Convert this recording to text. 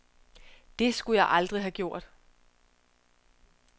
Det skulle jeg aldrig have gjort.